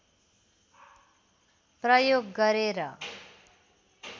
प्रयोग गरे र